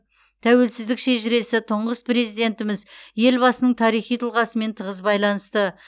тәуелсіздік шежіресі тұңғыш президентіміз елбасының тарихи тұлғасымен тығыз байланысты